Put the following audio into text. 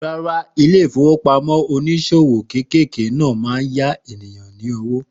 Rárá, ilé ìfowópamọ́ oníṣòwò kéékèèké náà máa ń yá ènìyàn ní owó.